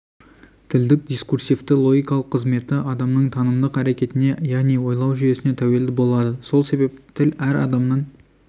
тілдің дискурсивті логикалық қызметі адамның танымдық әрекетіне яғни ойлау жүйесіне тәуелді болады сол себепті тіл әр адамның